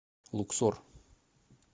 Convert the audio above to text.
луксор